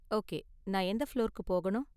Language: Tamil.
ஓகே, நான் எந்த ஃபுளோர்க்கு போகணும்?